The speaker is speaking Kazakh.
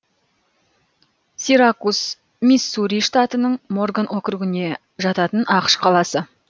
сиракус миссури штатының морган округіне жататын ақш қаласы